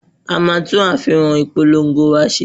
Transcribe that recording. A máa tún àfihàn ìpolongo wa ṣe.